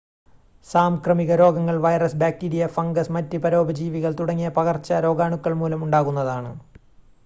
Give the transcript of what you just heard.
സാംക്രമിക രോഗങ്ങൾ virus bacteria fungus മറ്റ് പരോപജീവികൾ തുടങ്ങിയ പകർച്ചരോഗാണുക്കൾ മൂലം ഉണ്ടാകുന്നതാണ്